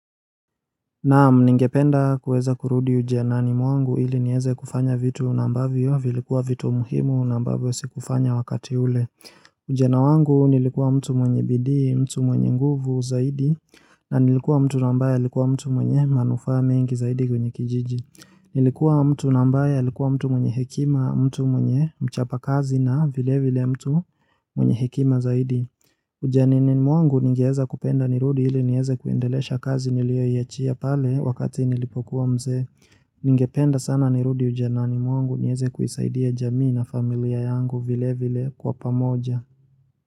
Naam ningependa kuweza kurudi ujanani mwangu ili niweze kufanya vitu na ambavyo vilikuwa vitu muhimu na ambavyo sikufanya wakati ule. Ujana wangu nilikuwa mtu mwenye bidii, mtu mwenye nguvu zaidi, na nilikuwa mtu ambaye alikuwa mtu mwenye manufaa mengi zaidi kwenye kijiji. Nilikuwa mtu na ambaye alikuwa mtu mwenye hekima, mtu mwenye mchapa kazi na vile vile mtu mwenye hekima zaidi. Ujanani mwangu ningeweza kupenda nirudi ili niweze kuendelesha kazi niliyoiachia pale wakati nilipokuwa mzee Ningependa sana nirudi ujanani mwangu niweze kuisaidia jamii na familia yangu vile vile kwa pamoja.